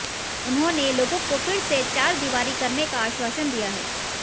उन्होंने लोगों को फिर से चारदीवारी करने का आश्वासन दिया है